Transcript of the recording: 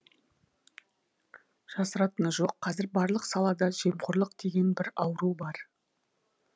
жасыратыны жоқ қазір барлық салада жемқорлық деген бір ауру бар